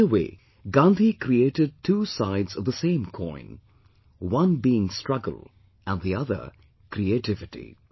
In a way, Gandhi created two sides of the same coin; one being struggle and the other, creativity